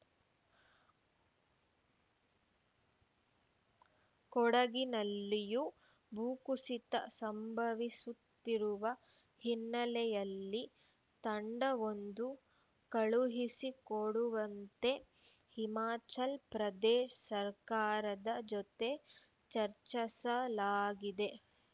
ಕೊಡಗಿನಲ್ಲಿಯೂ ಭೂಕುಸಿತ ಸಂಭವಿಸುತ್ತಿರುವ ಹಿನ್ನೆಲೆಯಲ್ಲಿ ತಂಡವೊಂದು ಕಳುಹಿಸಿ ಕೊಡುವಂತೆ ಹಿಮಾಚಲ ಪ್ರದೇಶ ಸರ್ಕಾರದ ಜತೆ ಚರ್ಚಸಲಾಗಿದೆ